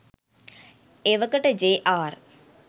එවකට ජේ.ආර්